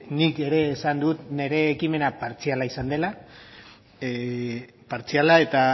nik ere esan dut nire ekimena partziala izan dela partziala eta